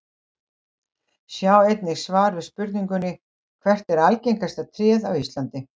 Sjá einnig svar við spurningunni Hvert er algengasta tréð á Íslandi?